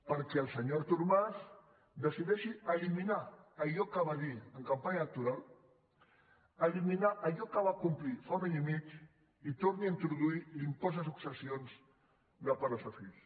perquè el senyor artur mas decideixi eliminar allò que va dir en campanya electoral eliminar allò que va complir fa un any i mig i torni a introduir l’impost de successions de pares a fills